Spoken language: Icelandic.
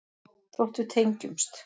Þótt við tengjumst.